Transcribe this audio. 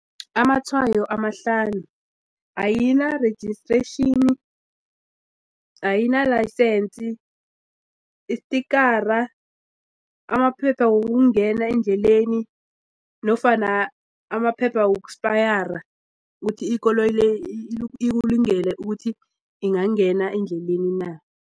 Amatshwayo amahlanu ayina-registration, ayinalayisensi, isitikara, amaphepha wokungena endleleni nofana amaphepha ukuthi ikoloyi le ikulungele ukuthi ingangena endleleni na.